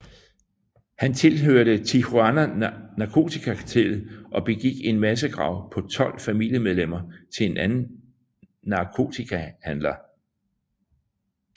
Han tilhørte Tijuana narkotikakartellet og begik en massakre på tolv familiemedlemmer til en anden narkotikahandler